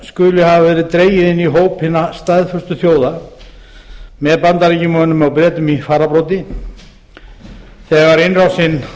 verið dregið inn í hóp hinna staðföstu þjóða með bandaríkjamönnum og bretum í fararbroddi vegar innrásin